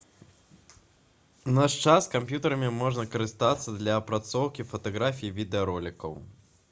у наш час камп'ютэрамі можна карыстацца для апрацоўкі фатаграфій і відэаролікаў